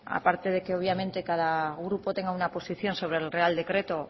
aparte de que obviamente cada grupo tenga una posición sobre el real decreto